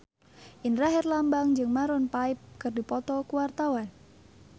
Indra Herlambang jeung Maroon 5 keur dipoto ku wartawan